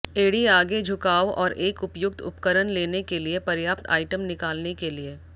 एड़ी आगे झुकाव और एक उपयुक्त उपकरण लेने के लिए पर्याप्त आइटम निकालने के लिए